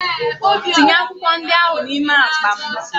Tinye akwụkwọ ndị ahụ n'ime akpa m!